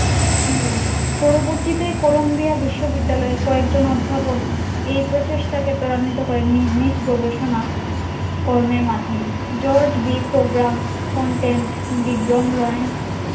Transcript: না পরবর্তীতে কলম্বিয়া বিশ্ব বিদ্যালয়ে কয়েকজন অধ্যাপক এই প্রচেষ্টাকে ত্বরান্বিত করেন নিজ নিজ গবেষণা করনের মাদ্ধমে জর্জ বি প্রোগ্রাম কন্টেন্ট বিগ্রম লরেন্স